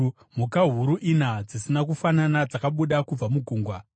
Mhuka huru ina, dzisina kufanana dzakabuda kubva mugungwa.